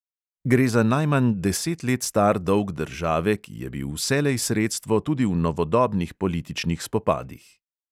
Gre za najmanj deset let star dolg države, ki je bil vselej sredstvo tudi v novodobnih političnih spopadih.